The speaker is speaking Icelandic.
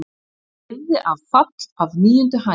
Lifði af fall af níundu hæð